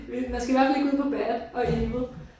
Man skal bare lægge ud på bad og evil